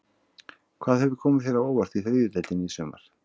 Hvað hefur komið þér á óvart í þriðju deildinni í sumar?